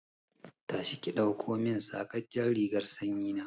Tashi ki ɗaukomin saƙaƙƙen rigar sanyi na!